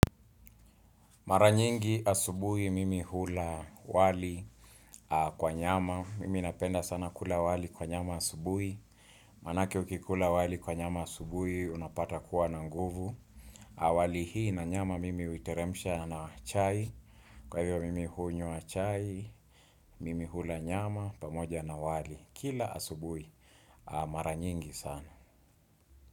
Mara nyingi asubuhi mimi hula wali kwa nyama. Mimi napenda sana kula wali kwa nyama asubuhi. Manake ukikula wali kwa nyama asubuhi. Unapata kuwa na nguvu au. Wali hii na nyama mimi huiteremsha na chai. Kwa hivyo mimi hunywa chai. Mimi hula nyama pamoja na wali. Kila asubui. Mara nyingi sana.